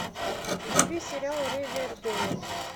вруби сериал ривердейл